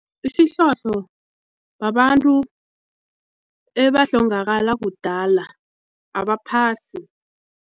Isihlohlo babantu ebahlongakala kudala abaphasi.